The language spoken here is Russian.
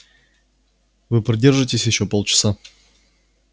вы продержитесь ещё полчаса